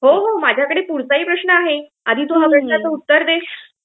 हो, हो. माझ्याकडे पुढचाही प्रश्न आहे. आधी तू या प्रश्नाचं उत्तर दे.